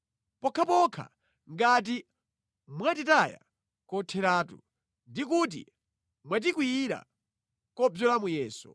pokhapokha ngati mwatitaya kotheratu, ndi kuti mwatikwiyira kobzola muyeso.